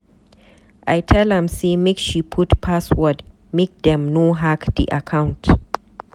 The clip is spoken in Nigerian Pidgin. I tell am say make she put password make dem no hack di account.